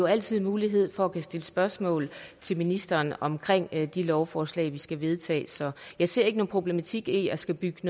altid mulighed for at kunne stille spørgsmål til ministeren om de lovforslag vi skal vedtage så jeg ser ikke nogen problematik i at skulle bygge